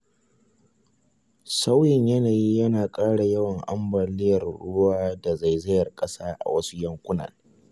Sauyin yanayi yana ƙara yawan ambaliyar ruwa da zaizayar ƙasa a wasu yankunan.